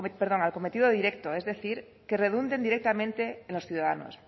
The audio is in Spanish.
perdón al cometido directo es decir que redunden directamente en los ciudadanos